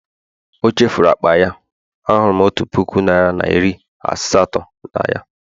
chefuru akpa ya, ahụrụ m otu puku naira na iri asatọ na ya